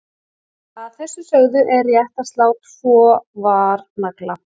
Að þessu sögðu er rétt að slá tvo varnagla.